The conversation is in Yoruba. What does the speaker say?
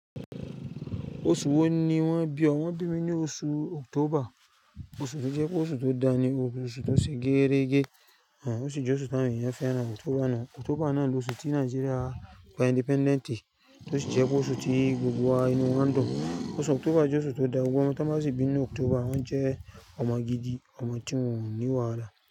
Oṣù wo ni wọ́n bi ọ? Wọ́n bí mi ní oṣù October, oṣù tó jẹ pé oṣù tó dani, oṣù tó ṣe gẹ́rẹ́gẹ́, òṣì jẹ́ oṣù tí àwọn ènìyàn fẹ́ràn. October náà ni oṣù tí Nigeria gba independent, tó sì jẹ́ pé oṣù tí gbogbo wa inú wa ń dùn. Oṣù October jẹ́ oṣù tó dáa, gbogbo ọmọ tí wọ́n ba sì bí ní October wọ́n jẹ́ ọmọ gidi, ọmọ tí wọ́n ní wàhálà.